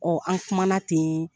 an kumana ten